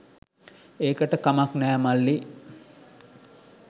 ඒකට කමක් නැහැ මල්ලී